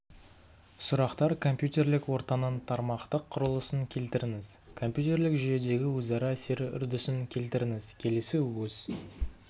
сұрақтар компьютерлік ортаның тармақтық құрылысын келтіріңіз компьютерлік жүйедегі өзара әсері үрдісін келтіріңіз келесі өз